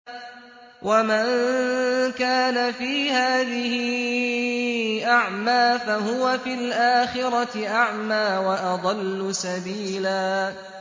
وَمَن كَانَ فِي هَٰذِهِ أَعْمَىٰ فَهُوَ فِي الْآخِرَةِ أَعْمَىٰ وَأَضَلُّ سَبِيلًا